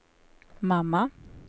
mamma